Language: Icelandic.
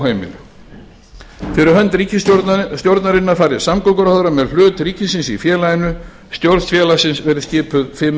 óheimil fyrir hönd ríkisstjórnarinnar fari samgönguráðherra með hlut ríkisins í félaginu stjórn félagsins skal skipuð fimm